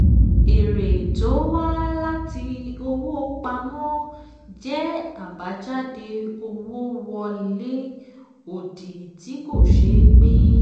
èrè tó wá láti owó pamọ́ jẹ́ àbájáde owó wọlé òdì tí kò ṣeé pín.